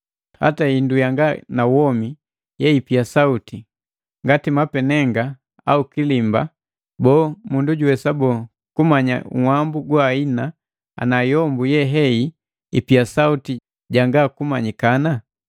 Hata hindu yanga na womi yeipia sauti, ngati mapenenga au kilimba, boo, mundu juwesa boo, kumanya nhwambu goahina ana yombu yehei ipia sauti janga kumanyikana?